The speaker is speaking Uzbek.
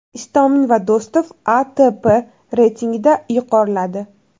Istomin va Do‘stov ATP reytingida yuqoriladi.